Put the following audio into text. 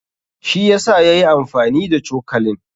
Shi yasa yayi amfani da cokalin.